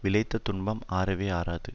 விளைத்த துன்பம் ஆறவே ஆறாது